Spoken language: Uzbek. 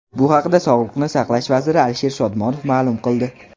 Bu haqda Sog‘liqni saqlash vaziri Alisher Shodmonov ma’lum qildi .